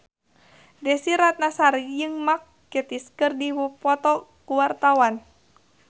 Desy Ratnasari jeung Mark Gatiss keur dipoto ku wartawan